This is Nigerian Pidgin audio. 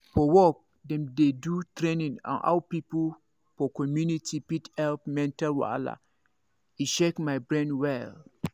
for work dem do training on how people for community fit help mental wahala e shake my brain well.